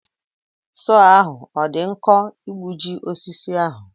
Sọọ ahụ ọ dị nkọ igbuji osisi ahụ.